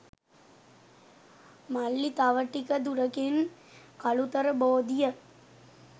"මල්ලි තව ටික දුරකින් කලුතර බෝධිය